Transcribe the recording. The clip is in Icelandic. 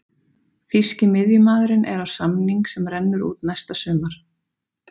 Þýski miðjumaðurinn er á samning sem rennur út næsta sumar.